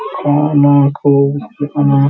दिख रहे हैं।